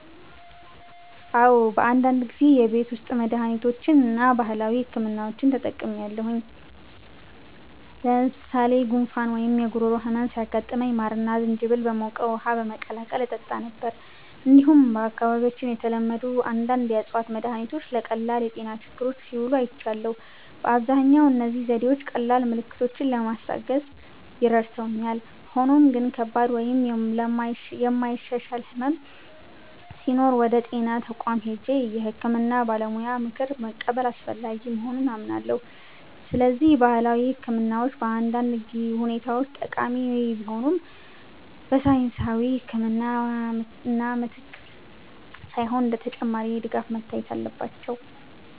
"አዎ፣ በአንዳንድ ጊዜ የቤት ውስጥ መድሃኒቶችን እና ባህላዊ ሕክምናዎችን ተጠቅሜያለሁ። ለምሳሌ ጉንፋን ወይም የጉሮሮ ህመም ሲያጋጥመኝ ማርና ዝንጅብል በሞቀ ውሃ በመቀላቀል እጠጣ ነበር። እንዲሁም በአካባቢያችን የተለመዱ አንዳንድ የእፅዋት መድሃኒቶች ለቀላል የጤና ችግሮች ሲውሉ አይቻለሁ። በአብዛኛው እነዚህ ዘዴዎች ቀላል ምልክቶችን ለማስታገስ ረድተውኛል፣ ሆኖም ግን ከባድ ወይም የማይሻሻል ሕመም ሲኖር ወደ ጤና ተቋም ሄጄ የሕክምና ባለሙያ ምክር መቀበል አስፈላጊ መሆኑን አምናለሁ። ስለዚህ ባህላዊ ሕክምናዎች በአንዳንድ ሁኔታዎች ጠቃሚ ቢሆኑም፣ በሳይንሳዊ ሕክምና ምትክ ሳይሆን እንደ ተጨማሪ ድጋፍ መታየት አለባቸው።"